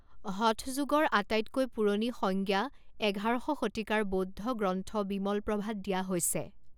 হঠ যোগৰ আটাইতকৈ পুৰণি সংজ্ঞা এঘাৰশ শতিকাৰ বৌদ্ধ গ্ৰন্থ বিমলপ্ৰভাত দিয়া হৈছে।